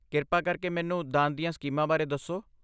ਕਿਰਪਾ ਕਰਕੇ ਮੈਨੂੰ ਦਾਨ ਦੀਆਂ ਸਕੀਮਾਂ ਬਾਰੇ ਦੱਸੋ।